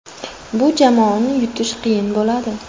Bu jamoani yutish qiyin bo‘ladi.